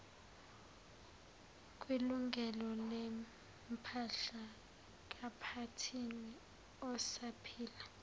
kwilungelolempahla kaphathini osaphila